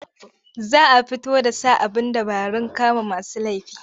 Za a fito da sa abin dabarun kama masu laifi.